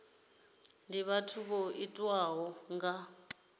ndi vhathu vho tiwaho nga